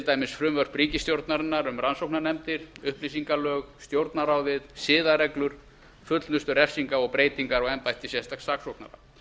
dæmis frumvörp ríkisstjórnarinnar um rannsóknarnefndir upplýsingalög stjórnarráðið siðareglur fullnustu refsinga og breytingar á embætti sérstaks saksóknara